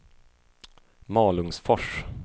Malungsfors